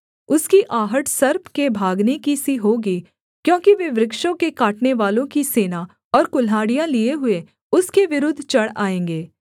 उसकी आहट सर्प के भागने की सी होगी क्योंकि वे वृक्षों के काटनेवालों की सेना और कुल्हाड़ियाँ लिए हुए उसके विरुद्ध चढ़ आएँगे